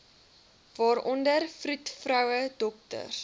waaronder vroedvroue dokters